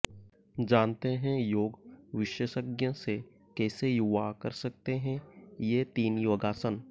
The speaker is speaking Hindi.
जानते हैं योग विशेषज्ञ से कैसे युवा कर सकते हैं ये तीन योगासन